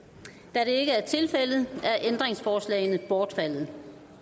da det ikke er tilfældet er ændringsforslagene bortfaldet